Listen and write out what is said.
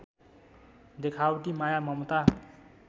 देखावटी माया ममता